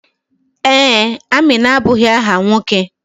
Ee, Amina abụghị áhà nwoke.